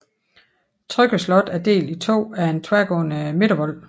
Trygge Slot er delt i to af en tværgående midtervold